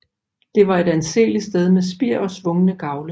Det var et anseeligt sted med spir og svungne gavle